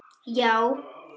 Já?